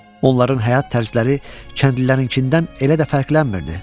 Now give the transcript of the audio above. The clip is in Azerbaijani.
Onların həyat tərzləri kəndlilərinkindən elə də fərqlənmirdi.